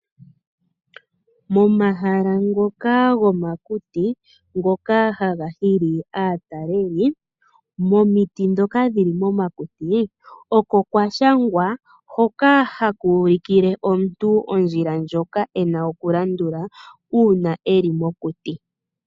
Momahala ngoka gomomakuti ngoka haga hili aataleli, momiti dhoka dhili momakuti oko kwashangwa hoka hakuulikile omuntu ondjila ena okulandula uuna eli mokuti.